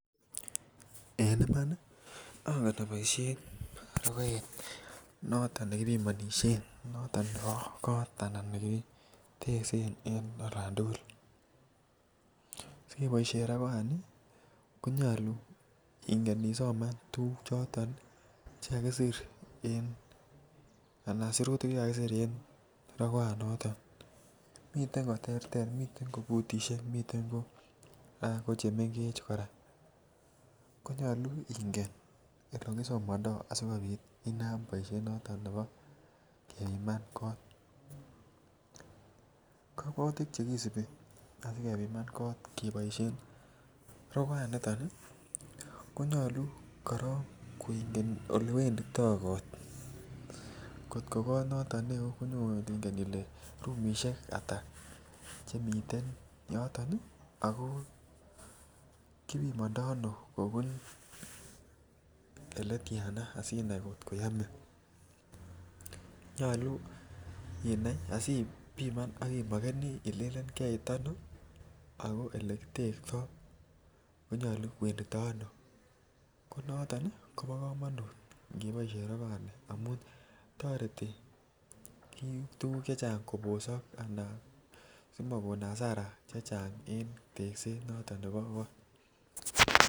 En Iman ongen oboisien rogoet noton nekibimonisien noton nebo kot anan ko nekiteksen en olan tugul asi keboisien rogoani ko nyolu ingen Isoman tuguk choton Che kakisir anan sirutik Che kakisir en rogoanato miten ko terter miten ko futusiek miten ko chemengech kora nyolu ingen Ole kisomandoi asi kobit inam boisiet noton nebo kebiman kot kasubutik Che kisubi asikobit kebiman kot rogoanito ko nyolu korok ingen korok Ole wenditoi kot angot ko kot neo konyolu ingen ile rumisiek Ata chemiten yoton ako kibimandoi ano kobun Ole tyana asinai angot koyoe nyolu ibiman ak imokeneni ilelen karit ano ago ole kitektoi ko nyolu koeendito ano kounoton kobo kamanut ngeboisien rogoani amun toreti tuguk chechang kobosok asikobit komakon hasara en tekset noton nebo kot